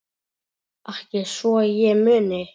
Ekki svo ég muni.